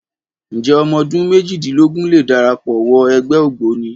Ǹjẹ́ ọmọ ọdún méjìlélógún lè darapọ̀ wọ ẹgbẹ́ Ògboni?